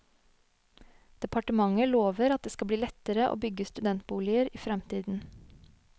Departementet lover at det skal bli lettere å bygge studentboliger i fremtiden.